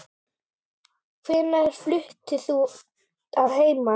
Hvenær fluttir þú að heiman?